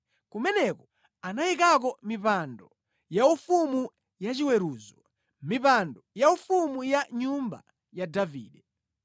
Kumeneko anayikako mipando yaufumu yachiweruzo, mipando yaufumu ya nyumba ya Davide.